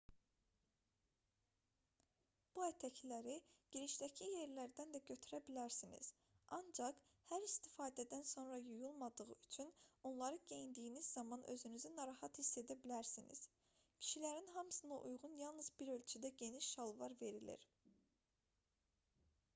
bu ətəkləri girişdəki yerlərdən də götürə bilərsiniz ancaq hər istifadədən sonra yuyulmadığı üçün onları geyindiyiniz zaman özünüzü narahat hiss edə bilərsiniz kişilərin hamısına uyğun yalnız bir ölçüdə geniş şalvar verilir